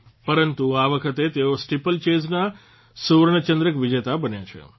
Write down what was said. પરંતુ આ વખતે તેઓ સ્ટીપલચેજના સુવર્ણચંદ્રક વિજેતા બન્યા છે